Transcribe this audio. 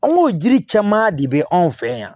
An go jiri caman de be anw fɛ yan